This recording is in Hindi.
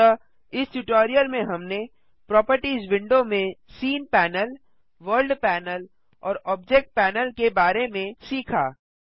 अतः इस ट्यूटोरियल में हमने प्रोपर्टिज विंडो में सीन पैनल वर्ल्ड पैनल और ऑब्जेक्ट पैनल के बारे में सीखा